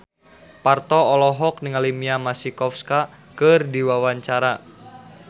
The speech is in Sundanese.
Parto olohok ningali Mia Masikowska keur diwawancara